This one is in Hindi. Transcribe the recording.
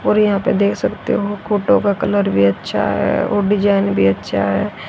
और यहां पे देख सकते हो फोटो का कलर भी अच्छा है और डिजाइन भी अच्छा है।